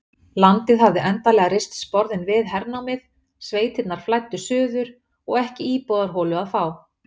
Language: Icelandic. Landið hafði endanlega reist sporðinn við hernámið, sveitirnar flæddu suður og ekki íbúðarholu að fá.